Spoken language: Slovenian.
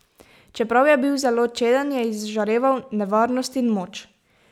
Čeprav je bil zelo čeden, je izžareval nevarnost in moč.